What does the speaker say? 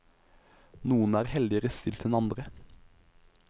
Noen er heldigere stilt enn andre.